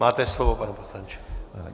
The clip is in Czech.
Máte slovo, pane poslanče.